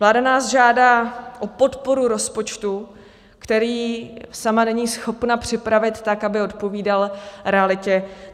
Vláda nás žádá o podporu rozpočtu, který sama není schopna připravit tak, aby odpovídal realitě.